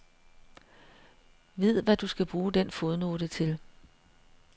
Vid, hvad du skal bruge den fodnote til.